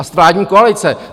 A z vládní koalice!